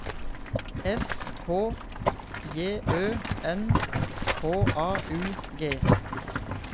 S K J Ø N H A U G